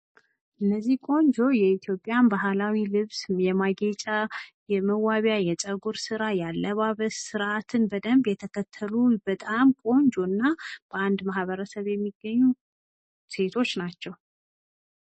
እነዚህ ቆንጆ የኢትዮጵያ ባህላዊ ልብስ የማስጌጫ የመዋቢያ የፀጉር ስራ ያአለባበስ ስርአትን በደንብ የተከተሉ በጣም ቆንጆ እና በአንድ ማህበረሰብ የሚገኙ ሴቶች ናቸው።